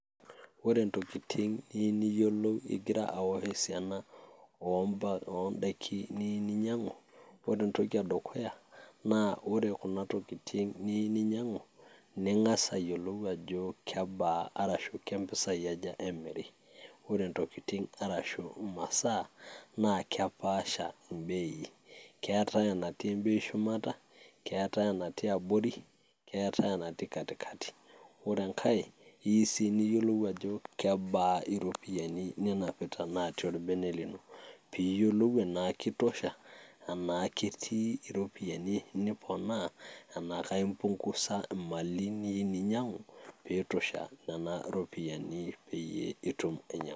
wore ntokiting' nimiyiolou igira awosh esiana oo ndaiki niyieu ninyang'u wore entoki edukuya naa wore kuna tokiting' niyieu ninyang'u ning'as ayiolou ajo kebaa arashu kempisai ajaa wore ntokiting' aashu masaa naa kepasha imbei ketaii enatii embeii shumata netaii enati embei abori netaii enatii katikati wore engaee keyieuu sii niyiolou ajoo kebaa iropiyiani ninapita tolbene lino piyiolou enaa kitosha enaa ketii iropiyiani niponaa enaa impung'usa imali niyieu ninyang'u peitosha nena ropiyani peitum ainyang'u